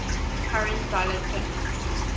current dollar terms